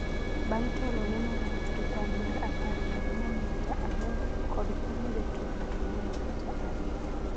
bang’ telo ne Morans gi kwan mar apar gi ang'wen nyukta aboro kod konyo jotugo ang'wen nyukta ariyo